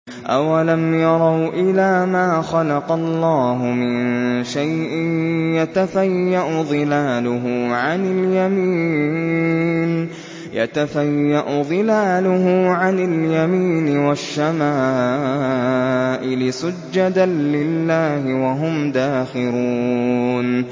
أَوَلَمْ يَرَوْا إِلَىٰ مَا خَلَقَ اللَّهُ مِن شَيْءٍ يَتَفَيَّأُ ظِلَالُهُ عَنِ الْيَمِينِ وَالشَّمَائِلِ سُجَّدًا لِّلَّهِ وَهُمْ دَاخِرُونَ